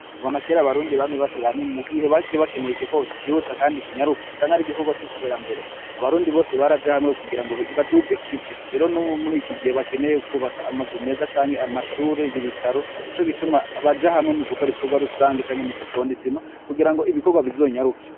Kuva na kere abarundi bamye bashira hamwe mu gihe bar bakeneye igikorwa kihuta kandi kinyaruka canke ari igikorwa c'iterambere. Abarundi bose bari aja hamwe kugira ngo baduze ikivi rero n'ubu muri ikigihe bakeneye kubaka amazu meza canke amashuri y'ibitaro ni co gituma baja hamwe mu gukora ibikorwa rusange canke mu guponda isima kugira ngo ibikorwa .